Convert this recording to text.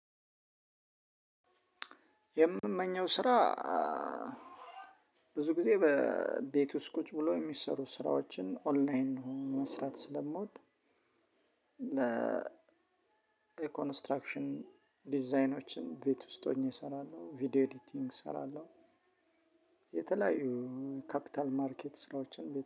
የምመኘው ስራ ብዙ ጊዜ በቤት ውስጥ ቁጭ ብሎ የሚሰሩ ስራዎችን ኦንላይን ሆኖ መስራት ስለምወድ ለ ኮንስትራክሽን ዲዛይኖችን ቤት ውስጥ ሆኜ እሰራለሁ ቪዲዮ ኤዲቲንግ እሰራለሁ። የተለያዩ ካፒታል ማርኬት ስራዎችን